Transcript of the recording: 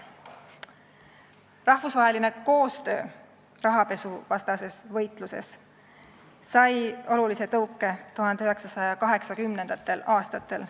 Rahvusvaheline koostöö rahapesuvastases võitluses sai olulise tõuke 1980. aastatel.